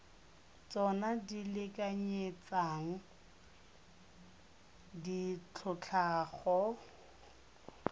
tsona di lekanyetsang ditlhotlhwa go